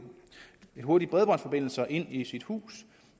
hurtig bredbåndsforbindelse ind i sit hus